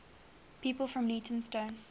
people from leytonstone